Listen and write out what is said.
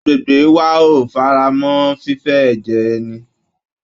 Agbègbè wa ò faramọ́ fífé ẹ̀jẹ̀ ẹni